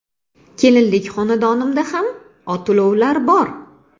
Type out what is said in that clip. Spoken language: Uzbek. Kelinlik xonadonimda ham ot-ulovlar bor.